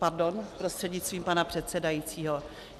Pardon, prostřednictvím pana předsedajícího.